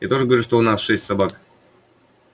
я тоже говорю что у нас шесть собак